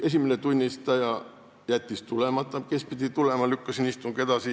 Esimene tunnistaja, kes pidi tulema, jättis tulemata, ma lükkasin istungi edasi.